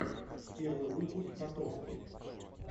первый выпуск котовски